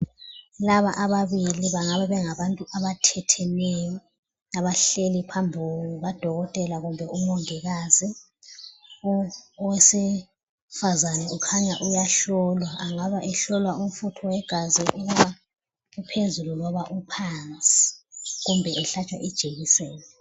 Laba ababili bangaba bengabantu abathetheneyo abahleli phambi kuka dokotela kumbe umongikazi. Owesifazana kukhanya uyahlolwa. Angaba ehlolwa umfutho wegazi ukuba uphezulu loba uphansi kumbe ehlatshwa ijekiseni.